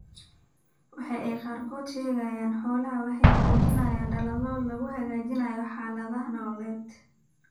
Waxa ay qaarkood ka sheegeen xoolahooda waxa ay muujinayaan dadaallo lagu hagaajinayo xaaladaha nololeed.